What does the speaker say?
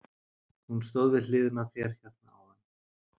Hún stóð við hliðina á þér hérna áðan.